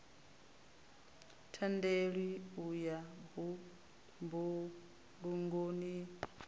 tendelwi u ya mbulungoni n